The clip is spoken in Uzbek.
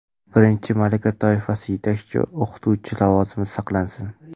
birinchi malaka toifasi (yetakchi o‘qituvchi lavozimi) saqlansin;.